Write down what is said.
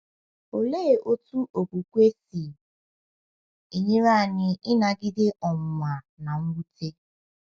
Olee otú okwukwe si enyere anyị ịnagide ọnwụnwa na mwute?